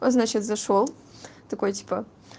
значит зашёл такой типа